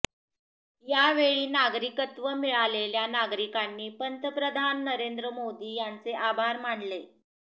यावेळी नागरिकत्व मिळालेल्या नागरिकांनी पंतप्रधान नरेंद्र मोदी यांचे आभार मानले